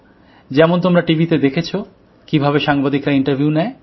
যেমন তোমরা টিভিতে দেখেছো কিভাবে সাংবাদিকরা ইন্টারভিউ নেয়